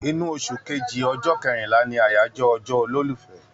Inú oṣù kejiì, ọjọ́ kẹrinlá ni àyájọ́ ọjọ́ olólùfẹ́